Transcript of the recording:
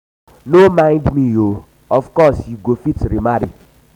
um no mind um me oo of course you go fit remarry.